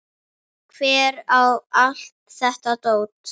Hver á allt þetta dót?